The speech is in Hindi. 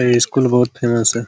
ये स्कूल बहुत फैमस है।